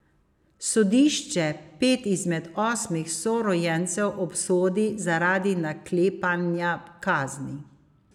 Sodišče pet izmed osmih sorojencev obsodi zaradi naklepanja kazni.